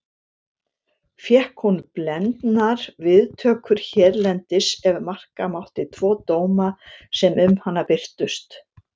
Fékk hún blendnar viðtökur hérlendis ef marka mátti tvo dóma sem um hana birtust.